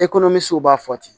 b'a fɔ ten